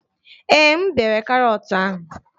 Ee, m bere karọt ahụ